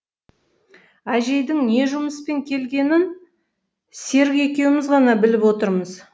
әжейдің не жұмыспен келгенін серік екеуміз ғана біліп отырмыз